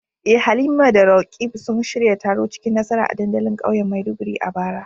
Eh Halima da Roqeeb sun shirya taro cikin nasara a dandalin kauyen Maiduguri a bara.